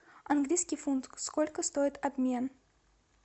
английский фунт сколько стоит обмен